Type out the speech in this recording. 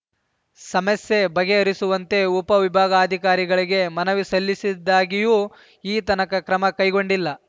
ಸಮಸ್ಯೆ ಬಗೆಹರಿಸುವಂತೆ ಉಪವಿಭಾಗಾಧಿಕಾರಿಗಳಿಗೆ ಮನವಿ ಸಲ್ಲಿಸಿದ್ದಾಗ್ಯೂ ಈತನಕ ಕ್ರಮ ಕೈಗೊಂಡಿಲ್ಲ